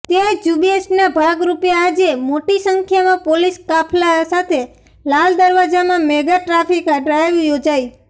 તે ઝૂંબેશના ભાગરૂપે આજે મોટી સંખ્યામાં પોલીસ કાફલા સાથે લાલ દરવાજામાં મેગા ટ્રાફિક ડ્રાઈવ યોજાઈ